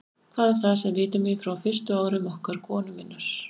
Hvað er það, sem vitjar mín frá fyrstu árum okkar konu minnar?